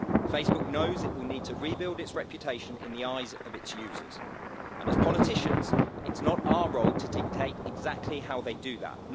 Facebook knows it will need to rebuild its reputation in the eyes of its users, and as politicians it's not our role to dictate exactly how they do that.